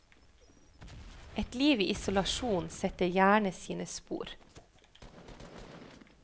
Et liv i isolasjon setter gjerne sine spor.